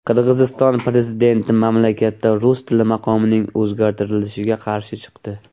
Qirg‘iziston prezidenti mamlakatda rus tili maqomining o‘zgartirilishiga qarshi chiqdi.